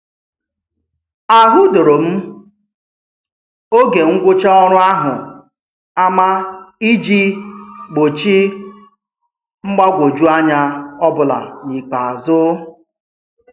A hudoro m oge ngwụcha ọrụ ahụ ama iji gbochi mgbagwoju anya ọbụla n'ikpeazụ.